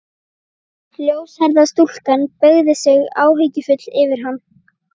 Ljóshærða stúlkan beygði sig áhyggjufull yfir hann.